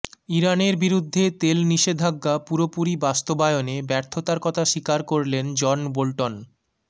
ইরানের বিরুদ্ধে তেল নিষেধাজ্ঞা পুরোপুরি বাস্তবায়নে ব্যর্থতার কথা স্বীকার করলেন জন বোল্টন